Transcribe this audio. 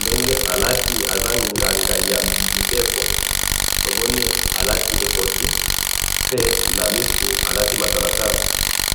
ndenge alati aza nganga ya mileko, tomoni alati ekoti, pe na misu alati matalatala